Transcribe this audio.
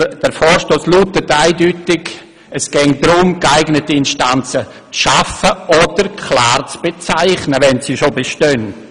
Doch der Vorstoss lautet eindeutig, dass geeignete Instanzen zu schaffen oder klar zu bezeichnen sind, wenn sie schon bestehen.